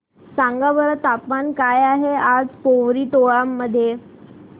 सांगा बरं तापमान काय आहे आज पोवरी टोला मध्ये